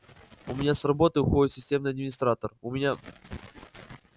у меня с работы уходит системный администратор у меня